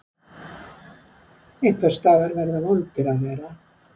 Einhvers staðar verða vondir að vera.